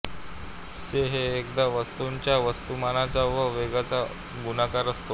से हे एखाद्या वस्तूच्या वस्तुमानाचा व वेगाचा गुणाकार असतो